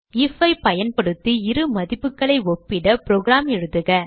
if ஐ பயன்படுத்தி இரு மதிப்புகளை ஒப்பிட புரோகிராம் எழுதுக